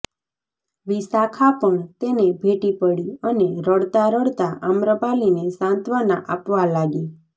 વિશાખા પણ તેને ભેટી પડી અને રડતાં રડતાં આમ્રપાલીને સાંત્વના આપવા લાગી